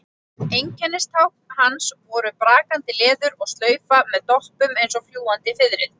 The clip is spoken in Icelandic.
Einkennistákn hans voru brakandi leður og slaufa með doppum eins og fljúgandi fiðrildi.